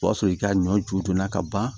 O y'a sɔrɔ i ka ɲɔ ju donna ka ban